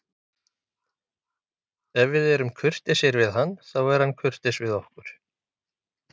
Ef við erum kurteisir við hann, þá er hann kurteis við okkur.